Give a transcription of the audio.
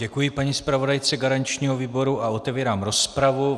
Děkuji paní zpravodajce garančního výboru a otevírám rozpravu.